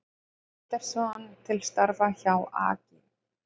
Andersson til starfa hjá AG